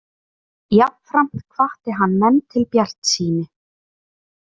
Jafnframt hvatti hann menn til bjartsýni